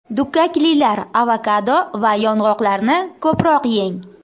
Dukkaklilar, avokado va yong‘oqlarni ko‘proq yeng.